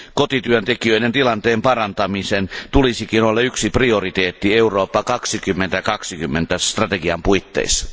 Kotityöntekijöiden tilanteen parantamisen tulisikin olla yksi prioriteetti Eurooppa 2020 strategian puitteissa.